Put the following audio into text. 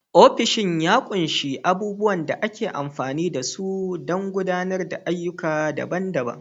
Ofishin ya ƙunshi abubuwan da ake amfani da su don gudanar da ayyuka daban-daban.